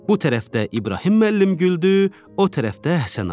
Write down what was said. Bu tərəfdə İbrahim müəllim güldü, o tərəfdə Həsənağa.